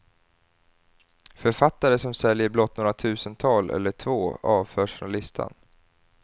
Författare som säljer blott något tusental eller två avförs från listan.